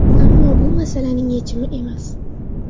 Ammo bu masalaning yechimi emas.